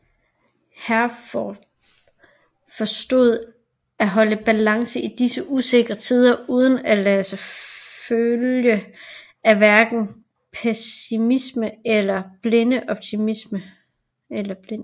Herforth forstod at holde balancen i disse usikre tider uden at lade sig følge af hverken pessimisme eller blind optimisme